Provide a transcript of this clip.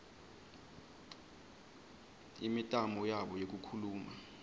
imitamo yabo yekukhuluma